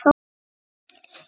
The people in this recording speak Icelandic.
sagði ég loks.